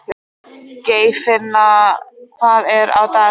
Geirfinna, hvað er á dagatalinu mínu í dag?